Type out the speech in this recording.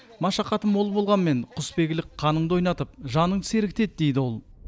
машақаты мол болғанмен құсбегілік қаныңды ойнатып жаныңды сергітеді дейді ол